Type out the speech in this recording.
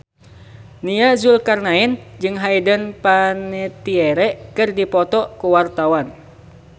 Nia Zulkarnaen jeung Hayden Panettiere keur dipoto ku wartawan